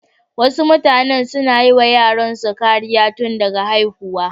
Wasu mutanen suna yiwa yaransu kariya tun daga haihuwa.